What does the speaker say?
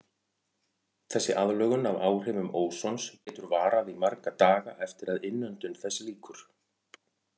Þessi aðlögun að áhrifum ósons getur varað í marga daga eftir að innöndun þess lýkur.